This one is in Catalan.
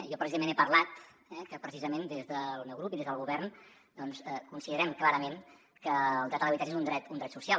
jo precisament he parlat que precisament des del meu grup i des del govern doncs considerem clarament que el dret a l’habitatge és un dret social